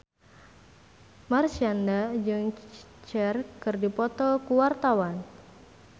Marshanda jeung Cher keur dipoto ku wartawan